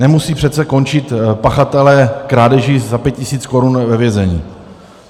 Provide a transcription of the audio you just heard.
Nemusí přece končit pachatelé krádeží za 5 tisíc korun ve vězení.